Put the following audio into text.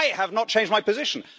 I have not changed my position.